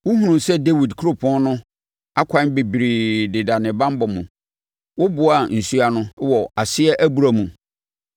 wohunuu sɛ Dawid Kuropɔn no akwan bebree deda ne banbɔ mu. Woboaa nsuo ano wɔ Aseɛ Abura mu.